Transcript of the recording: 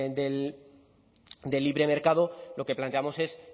de libre mercado lo que planteamos es